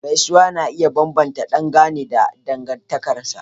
Gaisuwa na iya bambanta dangane da dangantakar.